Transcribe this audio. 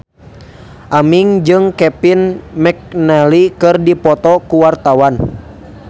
Aming jeung Kevin McNally keur dipoto ku wartawan